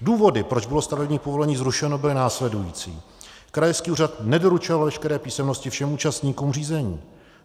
Důvody, proč bylo stavební povolení zrušeno, byly následující: Krajský úřad nedoručoval veškeré písemnosti všem účastníkům řízení.